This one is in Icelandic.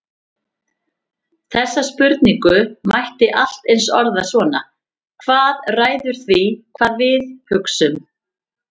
Þessa spurningu mætti allt eins orða svona: Hvað ræður því hvað við við hugsum?